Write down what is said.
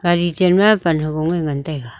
gari chanma pan hofong e ngan taiga.